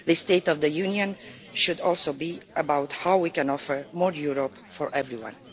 The State of the Union should also be about how we can offer more Europe for everyone.